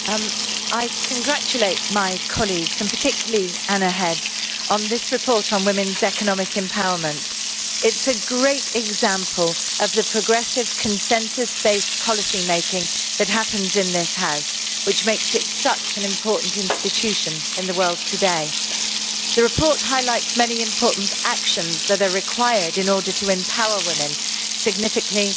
Madam President, I congratulate my colleagues, and particularly Anna Hedh, on this report on women's economic empowerment. It is a great example of the progressive consensus based policy making that happens in this House, which makes it such an important institution in the world today. The report highlights many important actions that are required in order to empower women significantly,